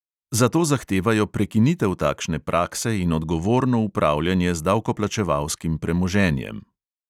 Zato zahtevajo prekinitev takšne prakse in odgovorno upravljanje z davkoplačevalskim premoženjem.